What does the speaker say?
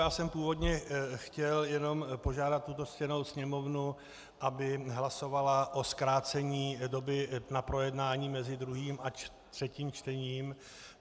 Já jsem původně chtěl jenom požádat tuto ctěnou Sněmovnu, aby hlasovala o zkrácení doby na projednání mezi druhým a třetím čtením.